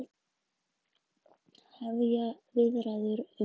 Hefja viðræður um launin